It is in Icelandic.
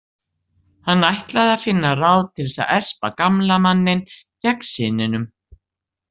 Hann ætlaði að finna ráð til að espa gamla manninn gegn syninum.